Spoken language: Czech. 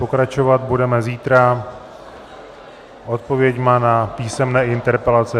Pokračovat budeme zítra odpověďmi na písemné interpelace.